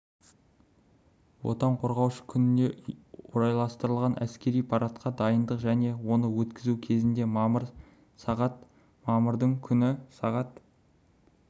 отан қорғаушы күніне орайластырылған әскери парадқа дайындық және оны өткізу кезінде мамыр сағат мамырдың күні сағат